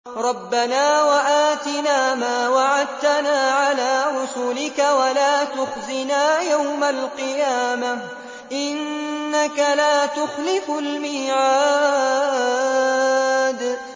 رَبَّنَا وَآتِنَا مَا وَعَدتَّنَا عَلَىٰ رُسُلِكَ وَلَا تُخْزِنَا يَوْمَ الْقِيَامَةِ ۗ إِنَّكَ لَا تُخْلِفُ الْمِيعَادَ